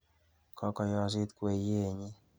Kokoyosit kweyienyi.